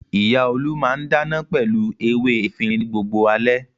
Ìyá Olú máà ń dáná pẹ̀lú ewé efirin ní gbogbo alẹ́.